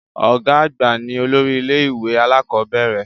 Ọ̀gá àgbà ní olórí ilẹ́-ìwé alakọ̀bẹ́ẹ́rẹ̀